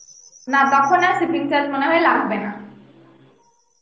না তখন আর shipping charge মনে হয় লাগবে না